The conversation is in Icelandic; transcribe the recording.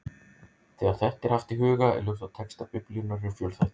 Þegar þetta er haft í huga er ljóst að textar Biblíunnar eru fjölþættir.